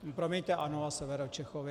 Promiňte, ano a Severočechovi.